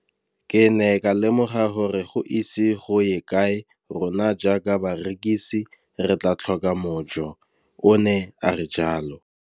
Ke ne ka lemoga gore go ise go ye kae rona jaaka barekise re tla tlhoka mojo, o ne a re jalo.